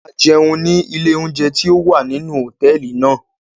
A jẹun ni ile ounjẹ ti o wa ninu hotẹẹli náa